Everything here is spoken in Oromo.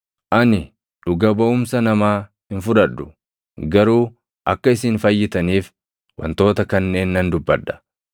Ani dhuga baʼumsa namaa hin fudhadhu; garuu akka isin fayyitaniif wantoota kanneen nan dubbadha.